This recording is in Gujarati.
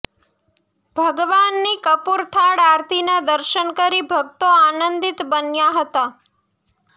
ભગવાનની કપુર થાળ આરતીના દર્શન કરી ભક્તો આનંદિત બન્યા હતા